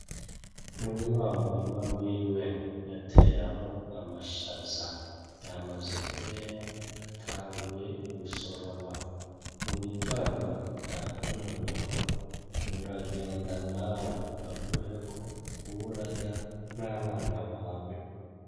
Muri wa murima wiwe yateramwo amashaza yamaze kwera atanguye gusoroma, mu gitondo yakuntumyeko uragenda nawe aguheko ube urarya n'abana bawe.